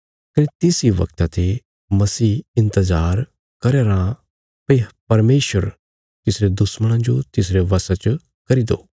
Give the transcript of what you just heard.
कने तिस इ बगता ते मसीह इन्तजार करया राँ भई परमेशर तिसरे दुश्मणां जो तिसरे बशा च करी दो